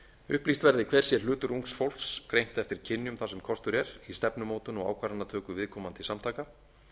upplýst verði hver sé hlutur ungs fólks greint eftir kynjum þar sem kostur er í stefnumótun og ákvarðanatöku viðkomandi samtaka